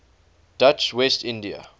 dutch west india